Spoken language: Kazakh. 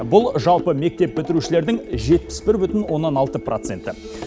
бұл жалпы мектеп бітірушілердің жетпіс бір бүтін оннан алты проценті